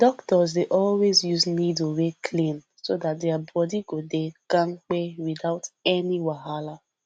doctors dey always use needle wey clean so that their body go dey kampe without any wahala